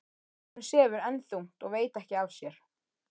Strákurinn sefur enn þungt og veit ekki af sér.